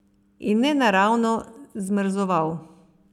In nenaravno zmrzoval.